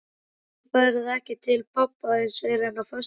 Þú ferð ekki til pabba þíns fyrr en á föstudaginn.